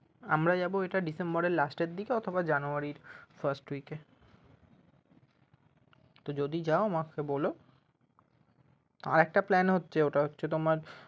আমরা যাবো এটা december এর last এর দিকে অথবা january এর first week এ যদি যাও আমাকে বল আরেকটা plan হচ্ছে ওটা হচ্ছে তোমার